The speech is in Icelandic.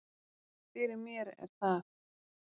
Fyrir mér er það